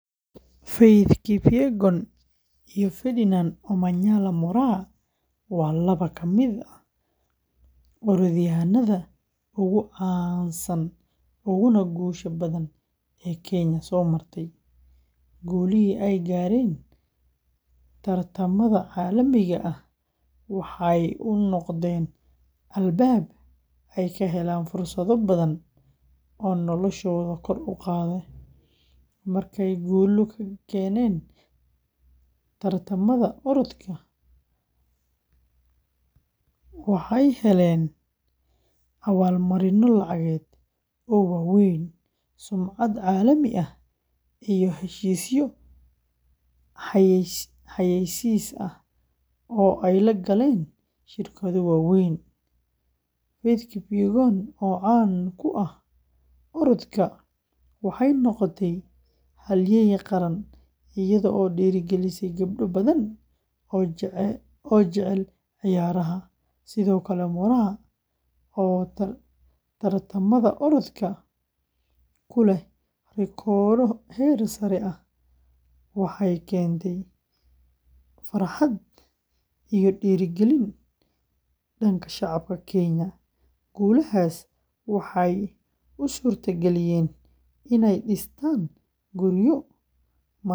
Faith Kipyegon iyo Ferdinand Omanyala Moraa waa laba ka mid ah orodyahanada ugu caansan uguna guusha badan ee Kenya soo martay, guulihii ay gaareen tartamada caalamiga ah waxay u noqdeen albaab ay ka heleen fursado badan oo noloshooda kor u qaaday. Markay guulo ka keeneen tartamada orodka, waxay heleen abaal-marinno lacageed oo waaweyn, sumcad caalami ah, iyo heshiisyo xayeysiis ah oo ay la galeen shirkado waaweyn. Kipyegon, oo caan ku ah orodka, waxay noqotay halyeey qaran iyadoo dhiirrigelisay gabdho badan oo jecel ciyaaraha. Sidoo kale Moraa, oo tartamada orodka ku leh rikoodho heer sare ah, waxay keentay farxad iyo dhiirrigelin shacabka Kenyan. Guulahaas waxay u suurtageliyeen inay dhistaan guryo, maal gashadaan.